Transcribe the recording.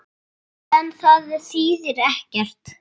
En það þýðir ekkert.